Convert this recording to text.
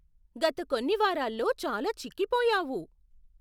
గత కొన్ని వారాల్లో చాలా చిక్కిపోయావు.